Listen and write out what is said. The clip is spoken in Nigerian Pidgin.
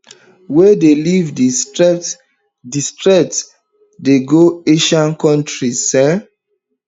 wey dey leave di strait di strait dey go asian kontris um